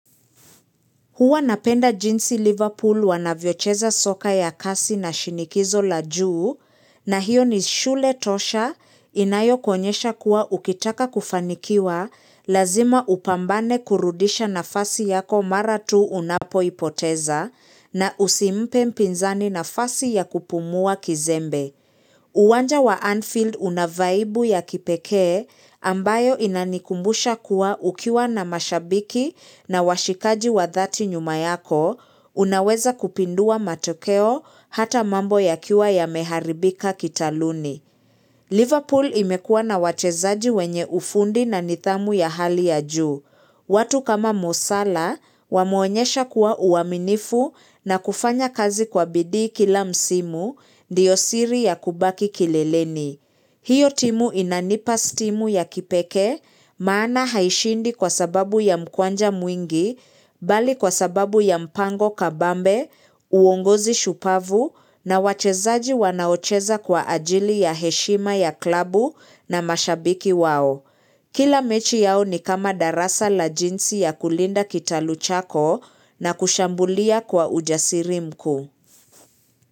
Huwa napenda jinsi Liverpool wanavyocheza soka ya kasi na shinikizo la juu na hiyo ni shule tosha inayo kuonyesha kuwa ukitaka kufanikiwa lazima upambane kurudisha nafasi yako mara tu unapoipoteza na usimpe mpinzani nafasi ya kupumua kizembe. Uwanja wa Anfield unavaibu ya kipekee ambayo inanikumbusha kuwa ukiwa na mashabiki na washikaji wa dhati nyuma yako, unaweza kupindua matokeo hata mambo yakiwa ya meharibika kitaluni. Liverpool imekua na wachezaji wenye ufundi na nidhamu ya hali ya juu. Watu kama mosala wameonyesha kuwa uaminifu na kufanya kazi kwa bidii kila msimu ndiyo siri ya kubaki kileleni. Hiyo timu inanipa stimu ya kipekee maana haishindi kwa sababu ya mkwanja mwingi bali kwa sababu ya mpango kabambe, uongozi shupavu na wachezaji wanaocheza kwa ajili ya heshima ya klabu na mashabiki wao. Kila mechi yao ni kama darasa la jinsi ya kulinda kitalu chako na kushambulia kwa ujasiri mkuu.